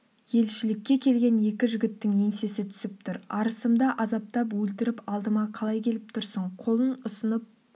елшілікке келген екі жігіттің еңсесі түсіп тұр арысымды азаптап өлтіріп алдыма қалай келіп тұрсың қолын ұсынып